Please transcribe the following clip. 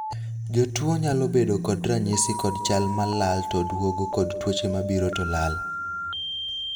jotuo nyalo bedo kod ranyisi kod chal malal to duogo kod tuoche mabiro to lal